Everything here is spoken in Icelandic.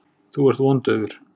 Þú ert vondaufur.